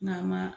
N'a ma